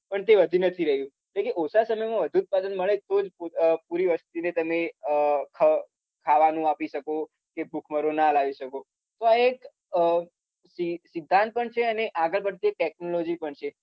પણ તે વધી નથી રહ્યું એટલે કે ઓછા સમયમાં વધુ ઉત્પાદન મળે તો જ પોતા અમ પૂરી વસ્તીને તમે અમ ખવ ખાવાનું આપી શકો કે ભૂખમરો ના લાવી શકો પ એક અમ સિ સિદ્ધાંત પણ છે અને આગળ પડતી એક technology પણ છે